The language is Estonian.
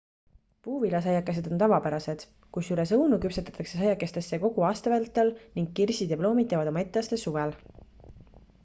puuviljasaiakesed on tavapärased kusjuures õunu küpsetatakse saiakestesse kogu aasta vältel ning kirsid ja ploomid teevad oma etteaste suvel